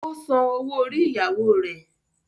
Ó san owó orí ìyàwó rẹ̀.